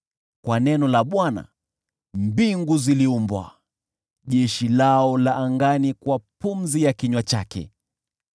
Kwa neno la Bwana mbingu ziliumbwa, jeshi lao la angani kwa pumzi ya kinywa chake.